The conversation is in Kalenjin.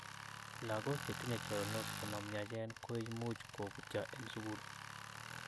Lagok chetinye choronok chemomyachen koimuch koputyo en sugul